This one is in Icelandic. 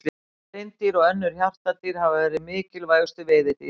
Hreindýr og önnur hjartardýr hafa verið mikilvægustu veiðidýrin.